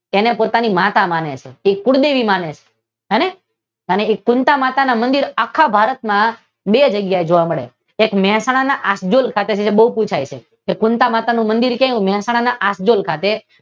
એને પોતાની માતા માને છે કુળદેવી માને છે હવે હવે એ કુનતા માતાના મંદીર આખા ભારતમાં બે જગ્યાએ જોવા મળે છે એક મહેસાણા ના યાદ રાખજો ખૂબ પૂછાય છે કે કુનતા માતાનું મંદિર ક્યાં આવ્યું મહેસાણા આખડેલ ખાતે